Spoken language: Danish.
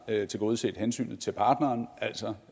tilgodeset hensynet til partneren altså